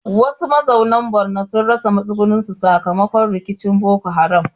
Wasu mazauna Borno sun rasa matsugunansu sakamakon rikicin Boko Haram.